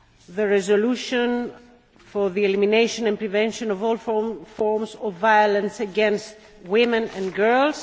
the resolution on the elimination and prevention of all forms of violence against women and girls